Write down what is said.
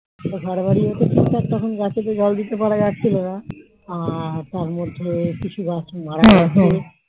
ঘর বাড়ি যখন ফিরতাম তখন গাছে তো জাল দিতে পারা যাচ্ছিলো না আর তার মধ্যে কিছু গাছ মারা গিয়েছে